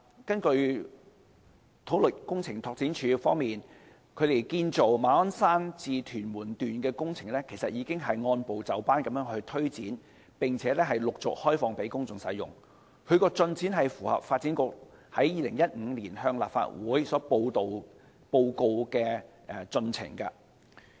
根據土木工程拓展署，建造馬鞍山至屯門段的工程其實已經按部就班推展，並且陸續開放給公眾使用，有關進展是符合發展局在2015年向立法會報告的進程。